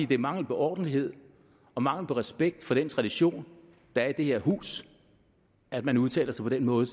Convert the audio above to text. det er mangel på ordentlighed og mangel på respekt for den tradition der er i det her hus at man udtaler sig på den måde